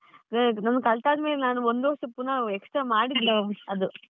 ಕಲ್ತಾದ್ಮೇಲೆ ನಾನು ಒಂದು ವರ್ಷ ಪುನಃ extra ಅದು.